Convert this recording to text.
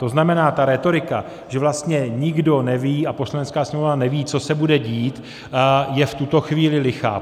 To znamená, ta rétorika, že vlastně nikdo neví a Poslanecká sněmovna neví, co se bude dít, je v tuto chvíli lichá.